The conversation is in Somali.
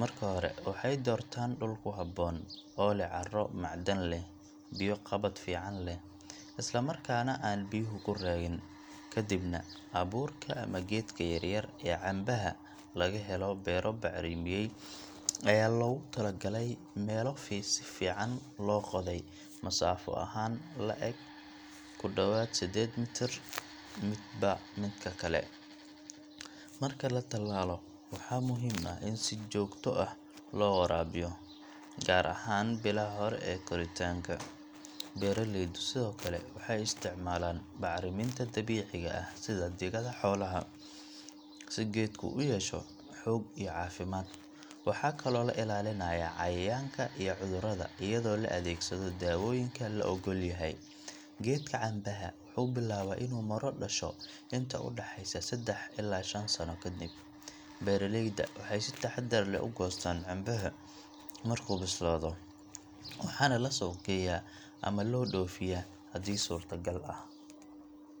Marka hore, waxay doortaan dhul ku habboon, oo leh carro macdan leh, biyo-qabad fiican leh, isla markaana aan biyuhu ku raagin. Kadibna, abuurka ama geedka yaryar ee canbaha laga helo beero bacrimiyay ayaa lagu tallaalaa meelo si fiican loo qoday, masaafo ahaan la’eg ku dhowaad 8 mitir midba midka kale. Marka la tallaalo, waxaa muhiim ah in si joogto ah loo waraabiyo, gaar ahaan bilaha hore ee koritaanka. Beeraleydu sidoo kale waxay isticmaalaan bacriminta dabiiciga ah sida digada xoolaha, si geedku u yeesho xoog iyo caafimaad. Waxaa kaloo la ilaalinayaa cayayaanka iyo cudurrada iyadoo la adeegsado dawooyinka la oggol yahay. Geedka canbaha wuxuu bilaabaa inuu miro dhasho inta u dhaxaysa seddax ilaa shan sano kadib. Beeraleyda waxay si taxaddar leh u goostaan canbaha markuu bislaado, waxaana la suuq geeyaa ama loo dhoofiyaa haddii suurtagal ah.